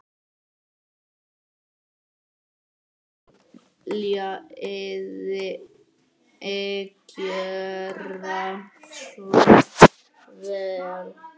Viljiði gjöra svo vel.